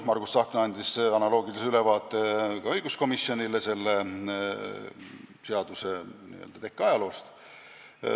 Margus Tsahkna andis õiguskomisjonile ajaloolise ülevaate seaduseelnõu tekkest.